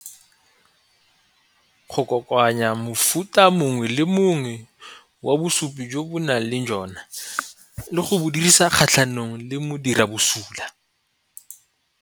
Go kokoanya mofuta mongwe le mongwe wa bosupi jo bo nang le jona le go dirisa kgatlhanong le modiri wa bosula.